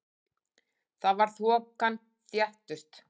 Þar var þokan þéttust.